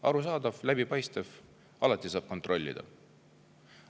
Arusaadav, läbipaistev, alati saab kontrollida.